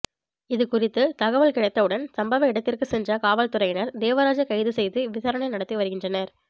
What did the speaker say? இது குறித்து தகவல் கிடைத்தவுடன் சம்பவ இடத்திற்கு சென்ற காவல்துறையினர் தேவராஜை கைது செய்து விசாரணை நடத்தி வருகின்றனர்